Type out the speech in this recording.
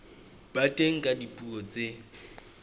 ba teng ka dipuo tse